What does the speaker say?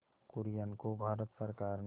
कुरियन को भारत सरकार ने